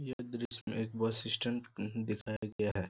यह दृश्य में बस स्टैंड दिखाया गया है।